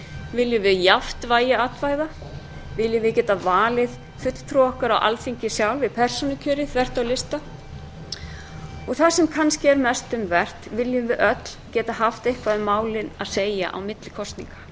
viljum við jafnt vægi atkvæða viljum við geta valið fulltrúa okkar á alþingi sjálf í persónukjöri þvert á lista og það sem kannski er mest um vert viljum við öll geta haft eitthvað um málin að segja á milli kosninga